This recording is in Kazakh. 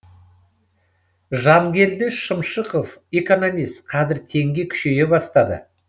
жангелді шымшықов экономист қазір теңге күшейе бастады